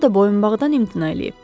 O da boyunbağdan imtina eləyib.